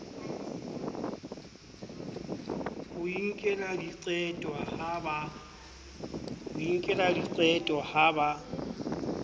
ho inkela diqeto ha ba